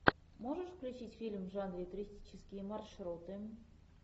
можешь включить фильм в жанре туристические маршруты